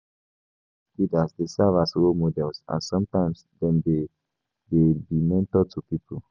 Religious leaders dey serve as role models and sometimes dem dey be mentor to pipo